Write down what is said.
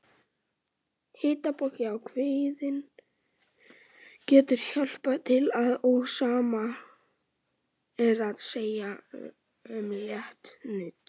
Hitapoki á kviðinn getur hjálpað til og sama er að segja um létt nudd.